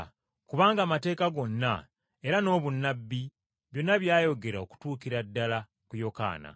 Kubanga amateeka gonna era n’obunnabbi byonna byayogera okutuukira ddala ku Yokaana.